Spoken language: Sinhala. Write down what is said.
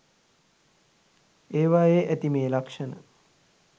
ඒවයේ ඇති මේ ලක්ෂණ